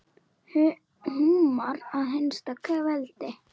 Húmar að hinsta kveldi.